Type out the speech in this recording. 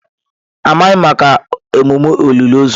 Amaghị m maka emume olili ozu.